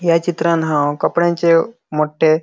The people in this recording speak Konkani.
या चित्रांत हाव कपड्यांचे मोटटे --